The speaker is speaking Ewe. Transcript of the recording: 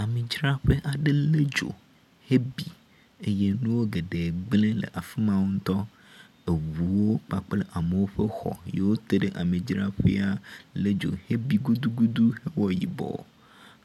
Amidzaƒea ɖe le dzo hebi eye nu geɖe gble le afi ma ŋutɔ. Eŋuwo kpakple amewo ƒe xɔ siwo teɖe amidzraƒea le dzo hebi gudugudu ewɔ yibɔ.